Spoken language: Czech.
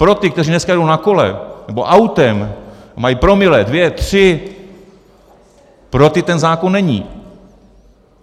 Pro ty, kteří dneska jedou na kole nebo autem a mají promile, dvě, tři, pro ty ten zákon není.